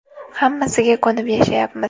Hammasiga ko‘nib yashayapmiz.